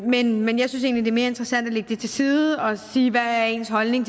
men men jeg synes egentlig mere interessant at lægge det til side og sige hvad ens holdning